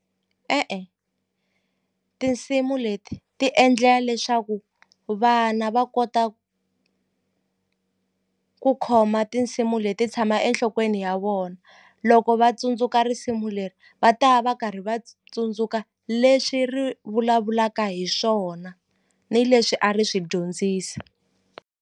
E-e, tinsimu leti ti endlela leswaku vana va kota ku khoma tinsimu leti tshama enhlokweni ni ya vona loko va tsundzuka risimu leri va ta va karhi va tsundzuka leswi ri vulavulaka hi swona ni leswi a ri swi dyondzisa.